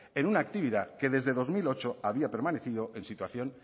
en una actividad que desde dos mil ocho había permanecido en situación